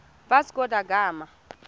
vasco da gama